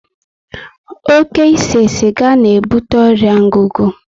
Oké ise siga na ebute ọrịa ngugu